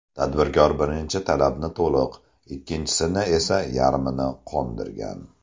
Tadbirkor birinchi talabni to‘liq, ikkinchisini esa yarmini qondirgan.